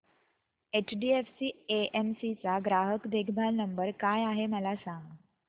HDFC AMC चा ग्राहक देखभाल नंबर काय आहे मला सांग